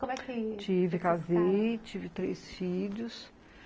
Como é que... Tive, casei, tive três filhos.